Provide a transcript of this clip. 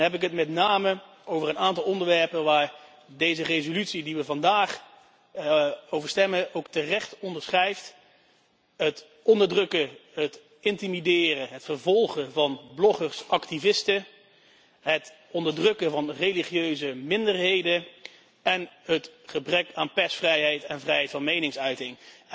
Dan heb ik het met name over een aantal onderwerpen die terecht in deze resolutie waar we vandaag over stemmen, worden onderschreven het onderdrukken, intimideren en vervolgen van bloggers activisten, het onderdrukken van religieuze minderheden en het gebrek aan persvrijheid en vrijheid van meningsuiting.